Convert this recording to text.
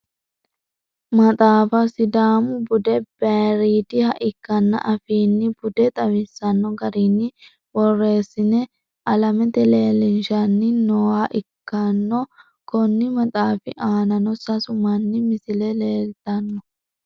maxaafa sidaamu bude bayiiridiha ikkina affini bude xawisanno garinni borreessine alamete leelinshanni nooha ikkano, konni maxaafi aanano sasu manni misile leeltanno.